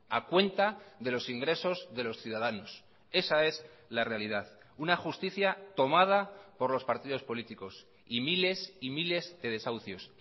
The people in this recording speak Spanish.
a cuenta de los ingresos de los ciudadanos esa es la realidad una justicia tomada por los partidos políticos y miles y miles de desahucios